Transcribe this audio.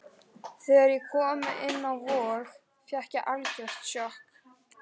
Þegar ég kom inn á Vog fékk ég algjört sjokk.